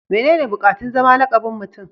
mene ne bukatun zama lakabin Mutum